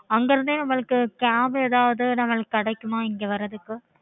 okay